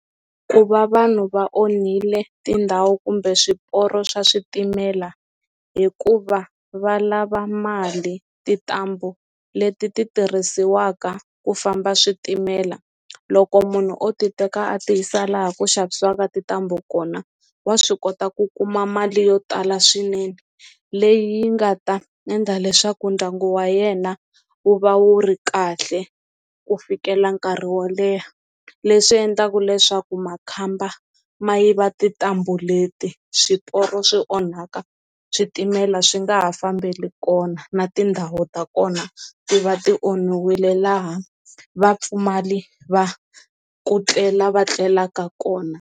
Ku va vanhu va onhile tindhawu kumbe swiporo swa switimela hikuva va lava mali tintambu leti ti tirhisiwaka ku famba switimela loko munhu o ti teka a ti yisa laha ku xavisiwa ka tintambu kona wa swi kota ku kuma mali yo tala swinene leyi yi nga ta endla leswaku ndyangu wa yena wu va wu ri kahle ku fikela nkarhi wo leha leswi endlaka leswaku makhamba ma yiva tintambu leti swiporo swi onhaka switimela swi nga ha fambeli kona na tindhawu ta kona ti va ti onhiwile laha vapfumali va ku tlela va tlelaka kona.